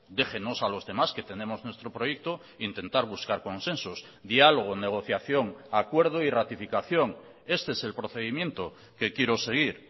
déjenos a los demás que tenemos nuestro proyecto intentar buscar consensos diálogo negociación acuerdo y ratificación este es el procedimiento que quiero seguir